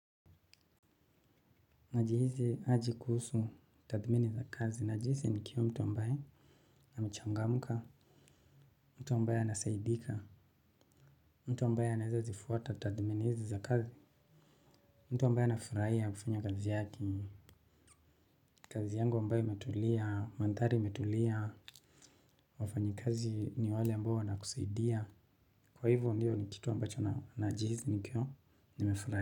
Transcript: Najihisi aje kuhusu tathimini za kazi. Najihisi nikiwa mtu ambaye amechangamuka, mtu ambaye anasaidika, mtu ambaye anaeza zifuata tathimini hizi za kazi, mtu ambaye anafuraia kufanya kazi yake, kazi yangu ambaye imetulia, mandhari imetulia, wafanyikazi ni wale ambao wanakusaidia. Kwa hivyo ndio ni kitu ambacho na najihisi nikio nimefurahi.